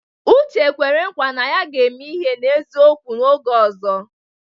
Uche kwere nkwa na ya ga-eme ihe n'eziokwu oge ọzọ.